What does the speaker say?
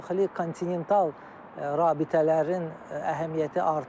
Daxili kontinental rabitələrin əhəmiyyəti artır.